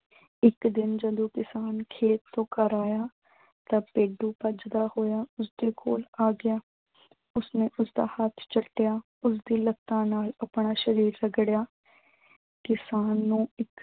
ਇੱਕ ਦਿਨ ਜਦੋਂ ਕਿਸਾਨ ਖੇਤ ਤੋਂ ਘਰ ਆਇਆ ਤਾਂ ਭੇਡੂ ਭੱਜਦਾ ਹੋਇਆ ਉਸਦੇ ਕੋਲ ਆ ਗਿਆ। ਉਸਨੇ ਉਸਦਾ ਹੱਥ ਚੱਟਿਆ ਉਸਦੀ ਲੱਤਾਂ ਨਾਲ ਆਪਣਾ ਸ਼ਰੀਰ ਰਗੜਿਆ। ਕਿਸਾਨ ਨੂੰ ਇੱਕ